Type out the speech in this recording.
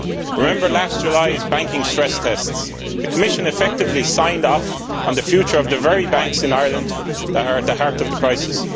One should remember last July's banking stress tests, when the Commission effectively signed off on the future of the very banks in Ireland that are at the heart of the crisis.